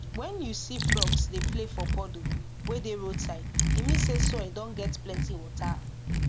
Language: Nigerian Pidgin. when you see frogs dey play for puddle wey dey roadside e mean say soil don get plenty water